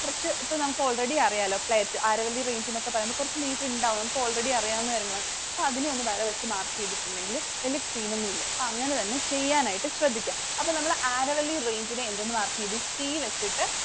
കുറച്ചു നമുക്ക് ഇപ്പോൾ already അറിയാലോ. Aravalli Range ന്നൊക്കെ പറയുമ്പോൾ കുറച്ചു ഉണ്ടാവും. Already അറിയാവുന്ന കാര്യങ്ങളാണ്. അപ്പോ അതിനെ ഒരു വര വെച്ച് mark ചെയ്തിട്ടുണ്ടെങ്കിൽ വലിയ scene ഒന്നുമില്ല. അപ്പോ അങ്ങനെ തന്നെ ചെയ്യാനായിട്ടു ശ്രദ്ധിക്ക്യ. അപ്പൊ നമ്മൾ Aravalli Range നെ എന്തെന്ന് mark ചെയ്തു? C വെച്ചിട്ടു